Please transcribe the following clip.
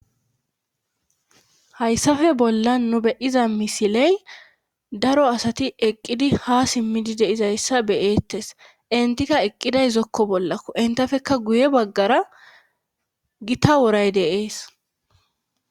Hayssafe bolla nu beyiza misiley daro asati eqqidi ha simmidi deizayssa beyeettes intika eqqiday zokko bollakko intafekka guye baggara gita woray deees